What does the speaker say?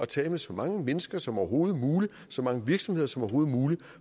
taler med så mange mennesker som overhovedet muligt så mange virksomheder som overhovedet muligt